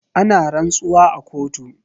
Ana rantsuwa a kotu.